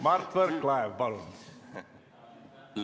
Mart Võrklaev, palun!